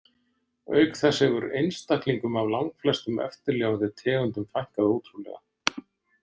Auk þess hefur einstaklingum af langflestum eftirlifandi tegundum fækkað ótrúlega.